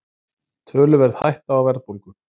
Töluverð hætta á verðbólgu